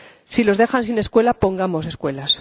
Si los dejan sin escuela, pongamos escuelas.